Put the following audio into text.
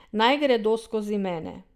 Naj gredo skozi mene.